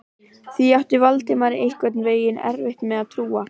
Því átti Valdimar einhvern veginn erfitt með að trúa.